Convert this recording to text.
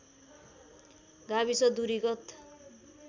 गाविस दूरी गत